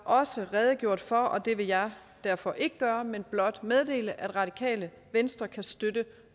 også redegjort for og det vil jeg derfor ikke gøre men blot meddele at radikale venstre kan støtte